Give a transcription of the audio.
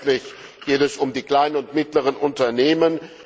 Letztlich geht es um die kleinen und mittleren Unternehmen.